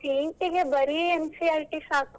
ಹಾ ಹಾ CET ಇಗೆ ಬರಿ NCERT ಸಾಕು.